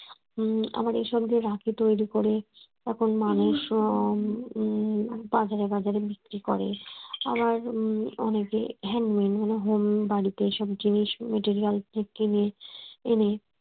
উম আবার এইসব দিয়ে রাখি তৈরি করে এখন মানুষ ও উম বাজারে বাজারে বিক্রি করে আবার অনেকে handmade মানে বাড়িতেই সব জিনিস materials কিনে এনে